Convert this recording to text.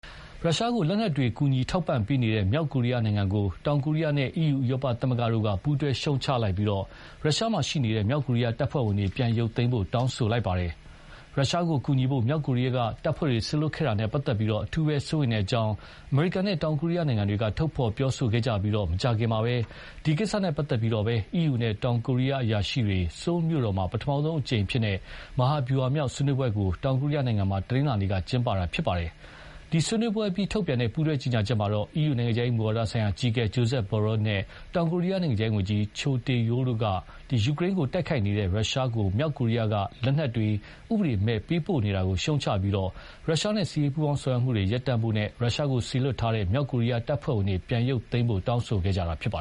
ရုရှားကို လက်နက်တွေ ကူညီ ထောက်ပံ့ပေးနေတဲ့ အတွက် မြောက်ကိုရီးယားနိုင်ငံကို တောင်ကိုရီးယားနဲ့ EU ဥရောပသမဂ္ဂ တို့က ပူးတွဲ ရှုတ်ချလိုက်ကြပြီး ယူကရိန်းကို တိုက်နေတဲ့ ရုရှားကို စေလွှတ်ခဲ့တဲ့ တပ်ဖွဲ့တွေကိုလည်း ပြန်ရုတ်သိမ်းဖို့ တောင်းဆိုလိုက် ပါတယ်။ ရုရှားကို ကူညီဖို့ မြောက်ကိုရီးယားက တပ်ဖွဲ့တွေ စေလွှတ်ခဲ့တာနဲ့ပတ်သက်လို့ အထူး စိုးရိမ်ကြောင်း အမေရိကန်နဲ့ တောင်ကိုရီးယား နိုင်ငံတွေက ထုတ်ဖော်ပြောဆိုခဲ့ကြပြီး မကြာခင်မှာပဲ ဒီကိစ္စနဲ့ ပတ်သက်ပြီးတော့ပဲ အီးယူနဲ့ တောင်ကိုရီးယား အရာရှိတွေ ဆိုးလ်မြို့တော်မှာ ပထမဆုံးအကြိမ် မဟာဗျူဟာမြောက် ဆွေးနွေးပွဲကို တောင်ကိုရီးယားနိုင်ငံမှာ တနင်္လာနေ့က ကျင်းပတာ ဖြစ်ပါတယ်။ ဒီဆွေးနွေးပွဲအပြီး ထုတ်ပြန်တဲ့ ပူးတွဲ ကြေညာချက်မှာ အီးယူ နိုင်ငံခြားရေး မူဝါဒဆိုင်ရာ အကြီးအကဲ Josep Borrell နဲ့ တောင်ကိုရီးယား နိုင်ငံခြားရေးဝန်ကြီး Cho Tae-yul တို့က ယူကရိန်းကို တိုက်ခိုက်နေတဲ့ ရုရှားကို မြောက်ကိုရီးယားက လက်နက်တွေ ဥပဒေမဲ့ ပေးပို့နေတာကို ရှုတ်ချပြီး ရုရှားနဲ့ စစ်ရေးပူးပေါင်းဆောင်ရွက်မှုတွေ ရပ်တန့်ဖို့နဲ့ ရုရှားကို စေလွှတ်ထားတဲ့ မြောက်ကိုရီးယား တပ်ဖွဲ့ဝင်တွေကို ပြန်ရုပ်သိမ်းဖို့ တောင်းဆိုခဲ့ကြတာပါ